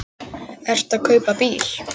Ertu að kaupa bíl?